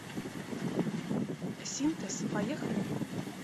синтез поехали